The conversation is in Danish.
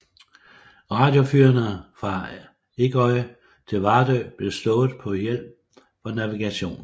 Radiofyrene fra Ingøy til Vardø blev slået på til hjælp for navigationen